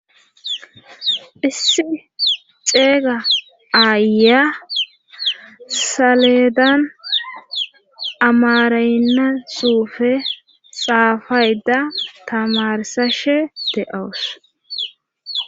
Issi xeeyga aaya saledan amarayynasufe xaafayda tamarsashe de'awus.